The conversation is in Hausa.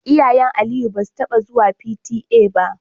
Iyayen Aliyu basu taba zuwa P.T.A ba.